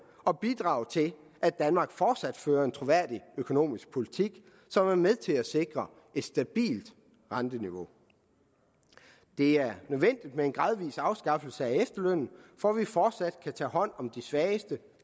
og bidrage til at danmark fortsat fører en troværdig økonomisk politik som er med til at sikre et stabilt renteniveau det er nødvendigt med en gradvis afskaffelse af efterlønnen for at vi fortsat kan tage hånd om de svageste